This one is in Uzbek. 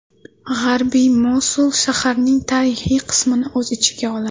G‘arbiy Mosul shaharning tarixiy qismini o‘z ichiga oladi.